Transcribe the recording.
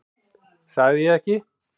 Sagði ég ekki?